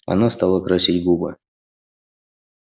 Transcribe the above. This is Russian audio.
она стала красить губы